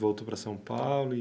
Voltou para São Paulo?